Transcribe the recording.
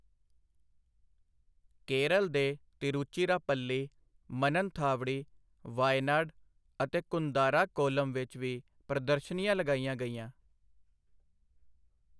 ਕੇਰਲ ਦੇ ਤਿਰੁਚਿਰਾਪੱਲੀ, ਮਨਨਥਾਵਡੀ, ਵਾਯਨਾਡ ਅਤੇ ਕੁੰਦਾਰਾ ਕੋੱਲਮ ਵਿੱਚ ਵੀ ਪ੍ਰਦਰਸ਼ਨੀਆਂ ਲਗਾਈਆਂ ਗਈਆਂ।